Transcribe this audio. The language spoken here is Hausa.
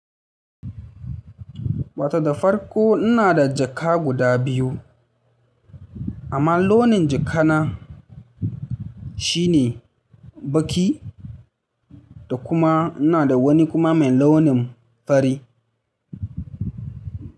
Wato da farko ina da jaka guda biyu. Amma launin jaka na, shine baki da kuma ina da wani kuma mai launin fari.